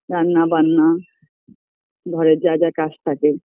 রান্না বান্না ঘরের যা যা কাজ থাকে